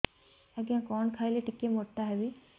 ଆଜ୍ଞା କଣ୍ ଖାଇଲେ ଟିକିଏ ମୋଟା ହେବି